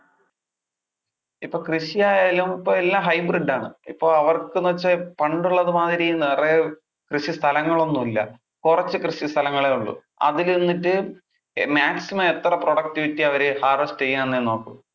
ഇപ്പൊ കൃഷി ആയാലും ഇപ്പൊ എല്ലാം hybrid ആണ്. ഇപ്പൊ അവർക്ക് എന്ന് വെച്ചാൽ പണ്ടുള്ളതു മാതിരി നിറെ കൃഷി സ്ഥലങ്ങൾ ഒന്നും ഇല്ല. കുറച്ചു കൃഷി സ്ഥലങ്ങളെ ഒള്ളു. അതിൽ നിന്നിട്ട് maximum എത്ര productivity അവര് harvest ചെയ്യാം എന്നെ നോക്കു.